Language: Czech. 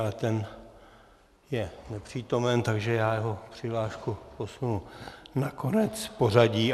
Ale ten je nepřítomen, takže jeho přihlášku posunu na konec pořadí.